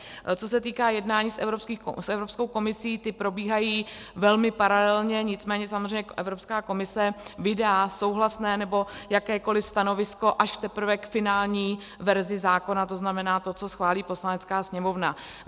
Co se týká jednání s Evropskou komisí, ta probíhají velmi paralelně, nicméně samozřejmě Evropská komise vydá souhlasné nebo jakékoliv stanovisko až teprve k finální verzi zákona, to znamená tomu, co schválí Poslanecká sněmovna.